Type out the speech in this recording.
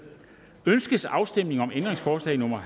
ønskes afstemning om ændringsforslag nummer